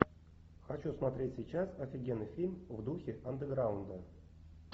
хочу смотреть сейчас офигенный фильм в духе андеграунда